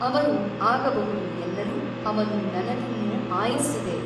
ಅವರು ಆಗಬಹುದು ಎನ್ನಲು ಅವನು ನನಗಿನ್ನೂ ಆಯುಸ್ಸಿದೆ.